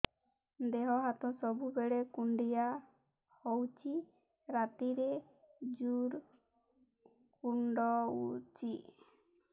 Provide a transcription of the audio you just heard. ଦେହ ହାତ ସବୁବେଳେ କୁଣ୍ଡିଆ ହଉଚି ରାତିରେ ଜୁର୍ କୁଣ୍ଡଉଚି